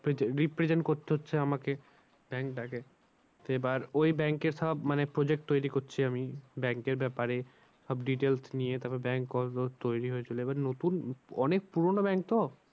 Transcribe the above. represent করতে হচ্ছে আমাকে bank টাকে। এবার ওই bank এ সব মানে project তৈরী করছি আমি bank এর ব্যাপারে। সব details নিয়ে তারপরে bank তৈরী হয়েছিল। এবার নতুন অনেক পুরানো bank তো